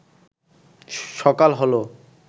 সকাল হল